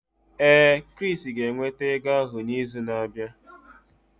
Ee, Chris ga-eweta ego ahụ n'izu na-abịa.